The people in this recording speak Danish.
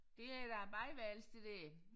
Det er da et badeværelse det der